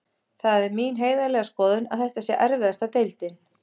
Það er mín heiðarlega skoðun að þetta sé erfiðasta deildin.